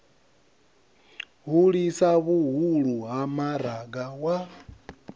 hulisa vhuhulu ha maraga wa